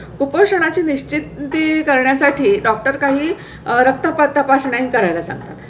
उपोषणा ची निश्चिती करण्यासाठी डॉक्टर काही रक्त पा तपासण्या करायला सांगतात